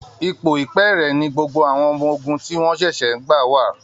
Ipò ìpẹ́ẹ̀rẹ̀ ni gbogbo àwọn ọmọ ogun tí wọ́n ṣẹ̀ṣẹ̀ ń gbà wà